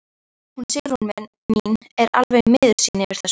Hún Sigrún mín er alveg miður sín yfir þessu.